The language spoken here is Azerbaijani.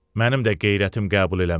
Mənim də qeyrətim qəbul eləməz.